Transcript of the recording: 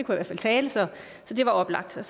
hvert fald tale så det var oplagt jeg